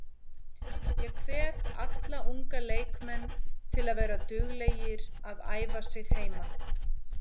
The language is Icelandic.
Ég hvet alla unga leikmenn að vera duglegir að æfa sig heima.